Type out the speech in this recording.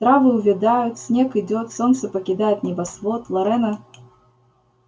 травы увядают снег идёт солнце покидает небосвод лорена